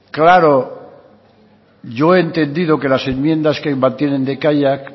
claro yo he entendido que las enmiendas que mantienen de kaiak